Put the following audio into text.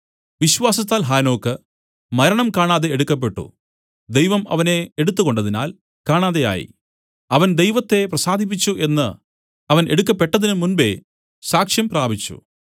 വിശ്വാസത്താൽ ഹാനോക്ക് മരണം കാണാതെ എടുക്കപ്പെട്ടു ദൈവം അവനെ എടുത്തുകൊണ്ടതിനാൽ കാണാതെയായി അവൻ ദൈവത്തെ പ്രസാദിപ്പിച്ചു എന്നു അവൻ എടുക്കപ്പെട്ടതിനു മുമ്പെ സാക്ഷ്യം പ്രാപിച്ചു